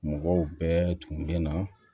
Mɔgɔw bɛɛ tun bɛ na